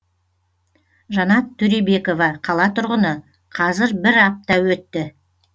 жанат төребекова қала тұрғыны қазір бір апта өтті